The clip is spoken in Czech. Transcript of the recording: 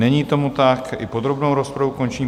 Není tomu tak, i podrobnou rozpravu končím.